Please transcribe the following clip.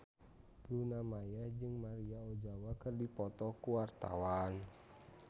Luna Maya jeung Maria Ozawa keur dipoto ku wartawan